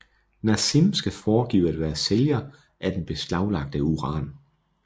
Nazim skal foregive at være sælger af den beslaglagte uran